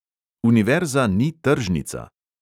"Univerza ni tržnica!"